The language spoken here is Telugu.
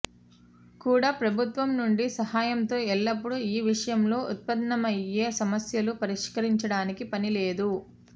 కూడా ప్రభుత్వం నుండి సహాయంతో ఎల్లప్పుడూ ఈ విషయంలో ఉత్పన్నమయ్యే సమస్యలు పరిష్కరించడానికి పని లేదు